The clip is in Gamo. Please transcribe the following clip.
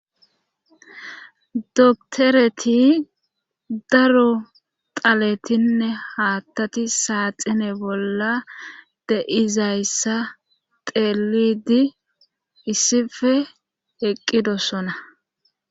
doktoreti daro taletinne haattati saaxine bolla de izayssa teelidi issife eqqidossona